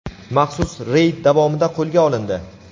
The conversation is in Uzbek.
maxsus reyd davomida qo‘lga olindi.